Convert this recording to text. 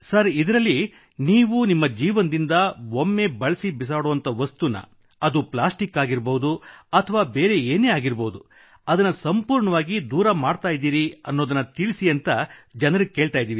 ಇದರಲ್ಲಿ ನೀವು ನಿಮ್ಮ ಜೀವನದಿಂದ ಒಮ್ಮೆ ಬಳಸಿ ಬಿಸಾಡುವ ವಸ್ತು ಅದು ಪ್ಲಾಸ್ಟಿಕ್ ಆಗಿರಬಹುದು ಅಥವಾ ಇನ್ನಾವುದೇ ಆಗಿರಬಹುದು ಅದನ್ನು ಸಂಪೂರ್ಣವಾಗಿ ದೂರ ಮಾಡಲಿದ್ದೀರಿ ತಿಳಿಸಿ ಎಂದು ಜನರಿಗೆ ಕೇಳಿದ್ದೇವೆ